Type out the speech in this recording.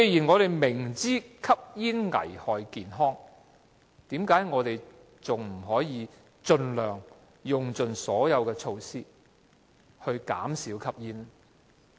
我們明知吸煙危害健康，為何不可以盡用所有措施減少市民吸煙呢？